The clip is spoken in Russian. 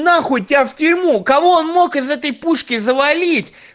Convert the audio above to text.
нахуй тебя в тюрьму кого он мог из этой пушки завалить